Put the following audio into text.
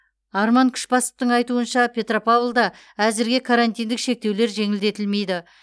арман күшбасовтың айтуынша петропавлда әзірге карантиндік шектеулер жеңілдетілмейді